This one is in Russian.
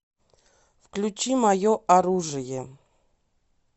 включи мое оружие